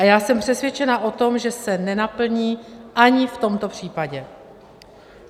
A já jsem přesvědčena o tom, že se nenaplní ani v tomto případě.